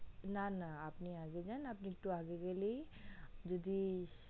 না না আপনে আগে যান আপনে একটু আগে গেলেই যদি